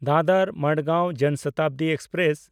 ᱫᱟᱫᱚᱨ–ᱢᱟᱰᱜᱟᱶ ᱡᱚᱱ ᱥᱚᱛᱟᱵᱫᱤ ᱮᱠᱥᱯᱨᱮᱥ